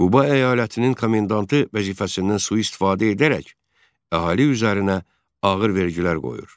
Quba əyalətinin komendantı vəzifəsindən sui-istifadə edərək əhali üzərinə ağır vergilər qoyur.